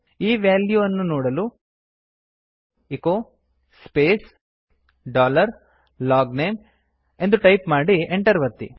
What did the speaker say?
ಈ ವ್ಯಾಲ್ಯೂವನ್ನು ನೋಡಲು ಎಚೊ ಸ್ಪೇಸ್ ಡಾಲರ್ ಲಾಗ್ನೇಮ್ ಎಂದು ಟೈಪ್ ಮಾಡಿ Enter ಒತ್ತಿ